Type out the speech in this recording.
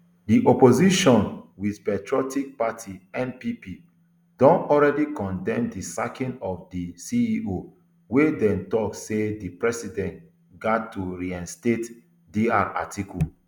di opposition new patriotic party npp don already condemn di sacking of di ceo wia dem tok say di president gat to reinstate dr atiku